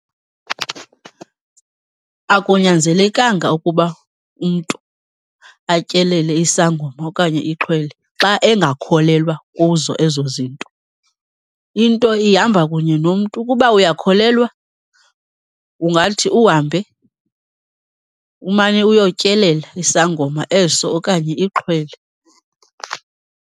Akunyanzelekanga ukuba umntu atyelele isangoma okanye ixhwele xa engakholelwa kuzo ezo zinto. Into ihamba kunye nomntu, ukuba uyakholelwa ungathi uhambe umane uyotyelela isangoma eso okanye ixhwele.